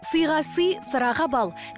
сыйға сый сыраға бал